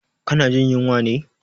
Ka na jin yunwa ne?